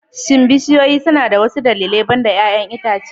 Shin bishiyoyi suna da wasu dalilai banda 'ya'yan itace?